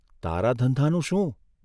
તારા ધંધાનું શું?